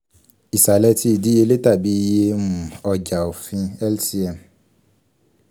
isalẹ ti idiyele tabi iye um ọja ofin lcm